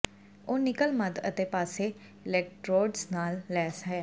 ਉਹ ਨਿਕਲ ਮੱਧ ਅਤੇ ਪਾਸੇ ਅਲੈਕਟ੍ਰੋਡਜ਼ ਨਾਲ ਲੈਸ ਹਨ